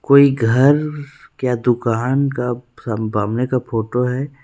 कोई घर या दुकान का सम सामने का फोटो हैं।